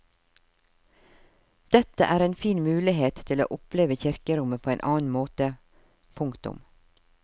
Dette er en fin mulighet til å oppleve kirkerommet på en annen måte. punktum